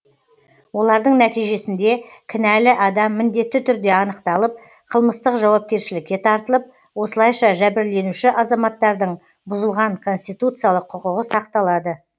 олардың нәтижесінде кінәлі адам міндетті түрде анықталып қылмыстық жауапкершілікке тартылып осылайша жәбірленуші азаматтардың бұзылған конституциялық құқығы сақталады